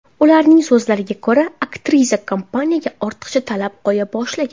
Ularning so‘zlariga ko‘ra, aktrisa kompaniyaga ortiqcha talab qo‘ya boshlagan.